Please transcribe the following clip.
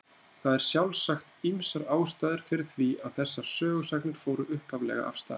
Það eru sjálfsagt ýmsar ástæður fyrir því að þessar sögusagnir fóru upphaflega af stað.